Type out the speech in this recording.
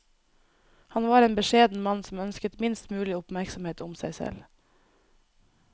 Han var en beskjeden mann som ønsket minst mulig oppmerksomhet om seg selv.